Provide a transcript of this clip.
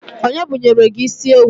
Onye bunyelu gi isiewu?